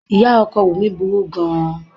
Ìyá ọkọ Wunmi burú gan-an.